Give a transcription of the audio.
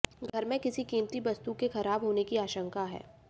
घर में किसी कीमती वस्तु के खराब होने की आशंका है